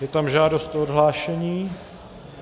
Je tam žádost o odhlášení.